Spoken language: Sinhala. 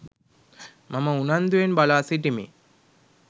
මම උනන්දුවෙන් බලා සිටිමි.